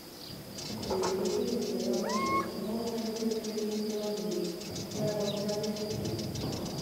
Gĩcunjĩ gĩkĩ nĩ kĩega mũno, no ũnyandĩkĩre kĩhũngĩroinĩ gĩakwa kĩa facebook